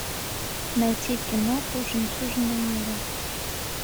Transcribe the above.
найти киноху жемчужина нила